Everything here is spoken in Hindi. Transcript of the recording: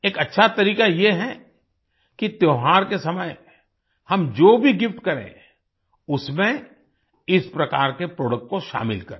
एक अच्छा तरीका ये है कि त्योहार के समय हम जो भी गिफ्ट करें उसमें इस प्रकार के प्रोडक्ट को शामिल करें